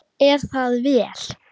Er það vel.